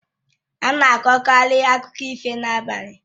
Ana akọkari akụkọ ifo n'abalị